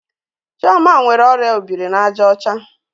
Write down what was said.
Chioma nwere orịa obiri-na-aja ocha?